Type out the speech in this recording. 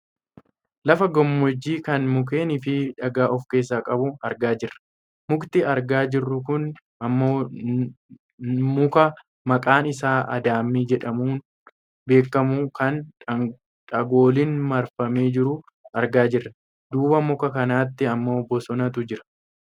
Lafa gammoojjii kan mukeeniifi dhagaa of keessaa qabu argaa jirra. Mukti argaa jirru kun ammoo nuka maqaan isaa addaamii jedhamuun beekkamu kan dhagooliin marfamee jiru argaa jirra. Duuba muka kanaatti ammoo bosonatu jira.